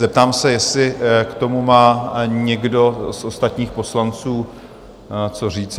Zeptám se, jestli k tomu má někdo z ostatních poslanců co říci?